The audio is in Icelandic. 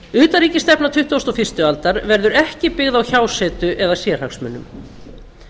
utanríkisstefna tuttugasta og fyrstu aldar verður ekki byggð á hjásetu eða sérhagsmunum